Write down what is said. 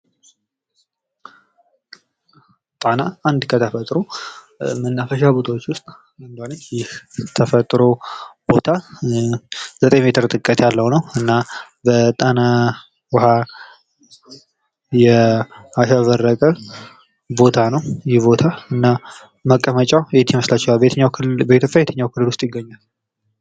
ጣና አንድ ከተፈጥሮ መናፈሻዎች ቦታዎች ዉስጥ አንዷ ነች። እና ይህ ተፈጥሮ ቦታ 9 ሜትር ጥልቀት ያለዉ ነዉ። እና በጣና ዉኋ ያሸበረቀ ቦታ ነዉ። እና ይህ ቦታ መቀመጫዉ በየትኛዉ ክልል ዉስጥ ይገኛል?